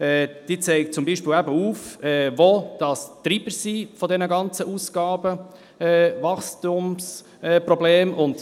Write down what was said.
Sie zeigt auf, wo die Treiber dieser ganzen Ausgaben, dieses Wachstumsproblems sind.